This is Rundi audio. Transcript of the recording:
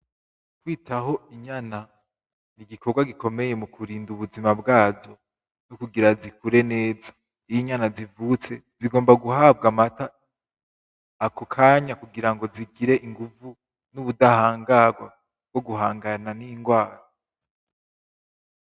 Kwitaho inyana ni igikorwa gikomeye mu kurinda ubuzima bwazo kugira zikure neza. Iyo inyana zivutse zigomba guhabwa amata ako kanya kugira ngo zigire inguvu n'ubudahangarwa bwo guhangana n'indwara.